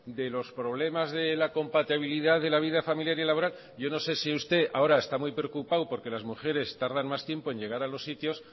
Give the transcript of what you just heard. de los problemas de compatibilidad de la vida familiar y laboral yo no sé si usted ahora está muy preocupado porque las mujeres tardan más tiempo en llegar a los sitios